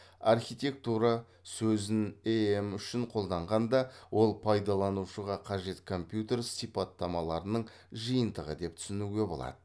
архитектура сөзін эем үшін қолданғанда ол пайдаланушыға қажет компьютер сипаттамаларының жиынтығы деп түсінуге болады